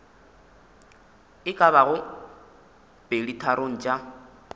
e ka bago peditharong tša